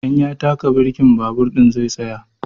In ya taka birki babur ɗin zai tsaya.